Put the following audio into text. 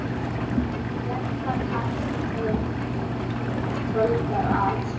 Verða kalt, er kvöldar að.